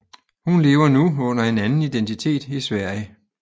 Hun lever nu under en anden identitet i Sverige